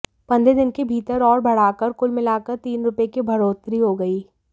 पंद्रह दिन के भीतर और बढ़ाकर कुल मिलाकर तीन रुपए की बढ़ोतरी हो गई